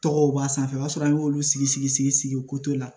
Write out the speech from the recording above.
Tɔgɔw b'a sanfɛ o b'a sɔrɔ an y'olu sigi sigi sigi sigi ko to la